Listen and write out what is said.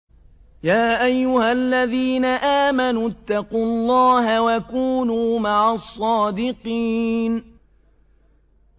يَا أَيُّهَا الَّذِينَ آمَنُوا اتَّقُوا اللَّهَ وَكُونُوا مَعَ الصَّادِقِينَ